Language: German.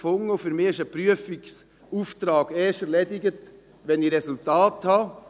Für mich ist ein Prüfungsauftrag erst erledigt, wenn ich Resultate habe.